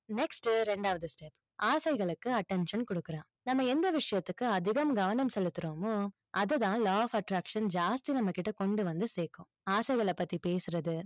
next டு, ரெண்டாவது step ஆசைகளுக்கு attention கொடுக்கறான். நம்ம எந்த விஷயத்துக்கு அதிகம் கவனம் செலுத்துறோமோ, அதுதான் law of attraction ஜாஸ்தி நம்ம கிட்ட கொண்டு வந்து சேர்க்கும். ஆசைகளை பத்தி பேசுறது,